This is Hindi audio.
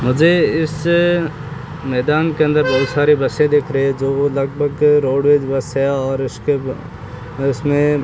मुझे इस मैदान के अंदर बहुत सारी बसें दिख रही है जो वो लगभग रोडवेज बस है और उसके उसमें --